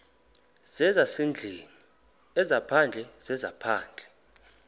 zezasendlwini ezaphandle zezaphandle